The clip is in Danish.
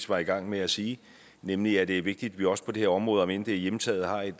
var i gang med at sige nemlig at det er vigtigt at vi også på det her område omend det er hjemtaget har et